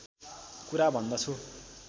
कुरा भन्दछु